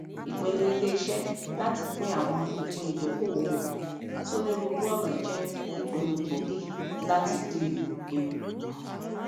ìpinnu iléiṣẹ láti pín àwọn ìpín ìdókolòwò wọn sónírúurú ọnà jẹ ìpinnu gbóògì láti dín ewu kù